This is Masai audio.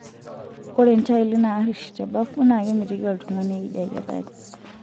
Ore ntaili naariri tebafu naa kemitiki oltung'ani eideketari.